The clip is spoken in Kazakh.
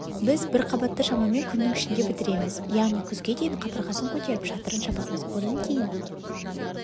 біз бір қабатты шамамен күннің ішінде бітіреміз яғни күзге дейін қабырғасын көтеріп шатырын жабамыз одан кейін